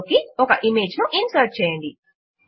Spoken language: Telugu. ఫైల్ లోకి ఒక ఇమేజ్ ను ఇన్సర్ట్ చేయండి